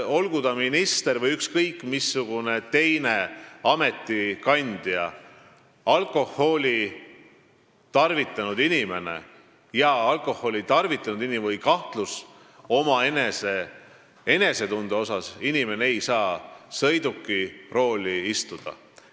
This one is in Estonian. Olgu ta minister või ükskõik missugune teine ametikandja, alkoholi tarvitanud inimene, kellel on kahtlus oma enesetunde suhtes, ei saa sõiduki rooli istuda.